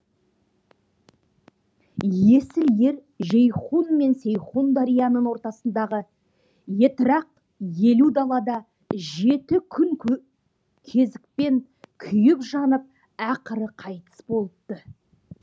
есіл ер жейхун мен сейхун дарияның ортасындағы етрақ елу далада жеті күн кезікпен күйіп жанып ақыры қайтыс болыпты